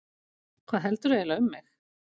Hvað heldurðu eiginlega um mig!